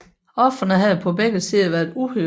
Ofrene havde på begge sider været uhyre